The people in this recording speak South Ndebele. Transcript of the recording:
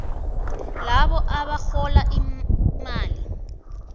labo abarhola imali